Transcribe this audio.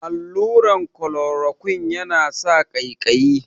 Allurar kolorokuine ya na sa ƙaiƙayi